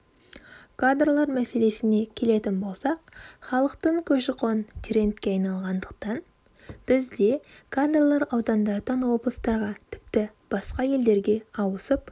кадрлар мәселесіне келетін болсақ халықтың көші-қоны трендке айналғандықтан бізде кадрлар аудандардан облыстарға тіпті басқа елдерге ауысып